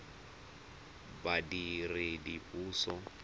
badiredipuso